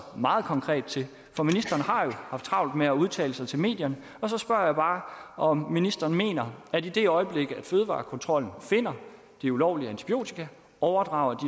meget konkret til for ministeren har jo haft travlt med at udtale sig til medierne så spørger jeg bare om ministeren mener at i det øjeblik fødevarekontrollen finder det ulovlige antibiotika overdrager